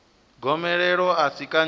gomelelo a si kanzhi i